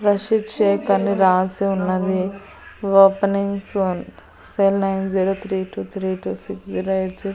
రషీద్ షేక్ అని రాసి ఉన్నది. Opening soon cell nine zero three two three two six zero eight C --